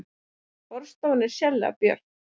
Borðstofan er sérlega björt